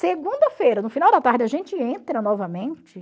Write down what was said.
Segunda-feira, no final da tarde, a gente entra novamente.